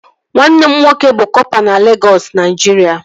Nwanne m nwoke bụ kọpa na Legọs, Naijiria